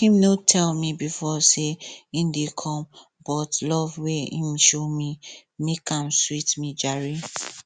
him no tell me before say him dey come but love wey him show me make am sweet me jare